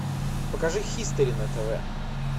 покажи хистори на тв